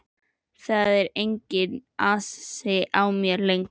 Það er enginn asi á mér lengur.